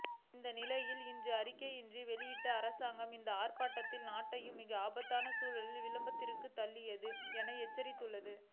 இந்நிலையில் இன்று அறிக்கையொன்றினை வெளியிட்டுள்ள அரசாங்கம் இந்த ஆர்ப்பாட்டங்கள் நாட்டை மிகவும் ஆபத்தான சூழ்நிலையின் விளிம்பிற்குத் தள்ளுகின்றது என எச்சரித்துள்ளது